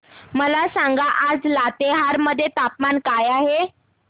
मला सांगा आज लातेहार मध्ये तापमान काय आहे